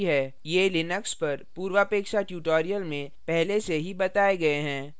ये लिनक्स पर पूर्वापेक्षा tutorial में पहले से ही बताए गए हैं